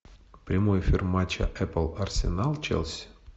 прямой эфир матча апл арсенал челси